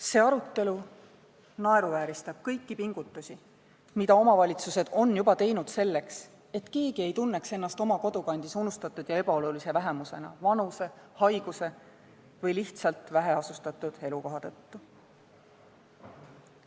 See arutelu naeruvääristab kõiki pingutusi, mida omavalitsused on juba teinud selle nimel, et keegi ei tunneks end oma kodukandis unustatud ja ebaolulise vähemusena vanuse, haiguse või lihtsalt väheasustatud elukoha tõttu.